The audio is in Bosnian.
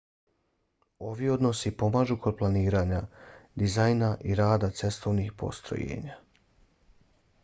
ovi odnosi pomažu kod planiranja dizajna i rada cestovnih postrojenja